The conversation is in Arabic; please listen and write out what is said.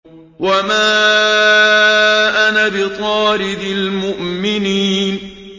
وَمَا أَنَا بِطَارِدِ الْمُؤْمِنِينَ